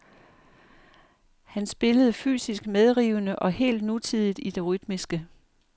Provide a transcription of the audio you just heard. Han spillede fysisk medrivende og helt nutidigt i det rytmiske.